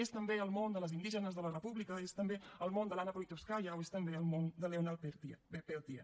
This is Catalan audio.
és també el món de les indígenes de la república és també el món de l’anna politkóvskaia o és també el món de leonard peltier